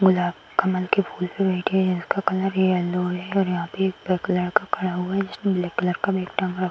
गुलाब कमल के फूल पे बैठे हैं जिसका कलर येलो है और यहाँ पे एक लड़का खड़ा हुआ है जिसने ब्लैक कलर का बैग टाँगा --